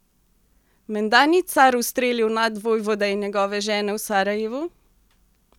Menda ni car ustrelil nadvojvode in njegove žene v Sarajevu?